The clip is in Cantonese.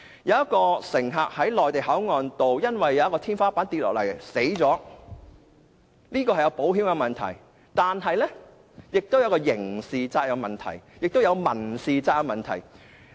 有一名乘客在內地口岸因為天花下塌而死亡，這是一個保險的問題，但也涉及刑事責任和民事責任的問題，共分為3個問題。